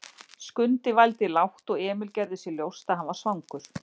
Skundi vældi lágt og Emil gerði sér ljóst að hann var svangur.